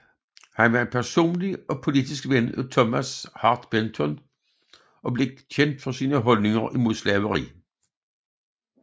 Han var en personlig og politisk ven af Thomas Hart Benton og blev kendt for sine holdninger imod slaveri